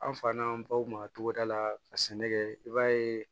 An fa n'an baw ma togoda la ka sɛnɛ kɛ i b'a ye